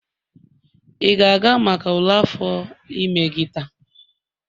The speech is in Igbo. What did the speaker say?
ị ga-aga maka ule afọ ime gị taa?